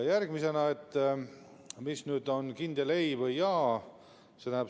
Järgmisena, mis on nüüd kindel ei või jaa?